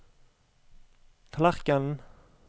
tallerkenen